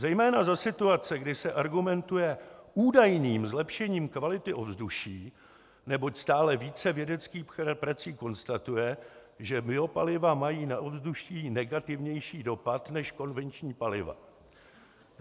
Zejména za situace, kdy se argumentuje údajným zlepšením kvality ovzduší, neboť stále více vědeckých prací konstatuje, že biopaliva mají na ovzduší negativnější dopad než konvenční paliva.